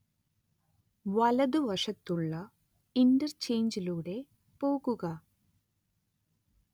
വലതുവശത്തുള്ള ഇന്റർചെയ്ഞ്ചിലൂടെ പോകുക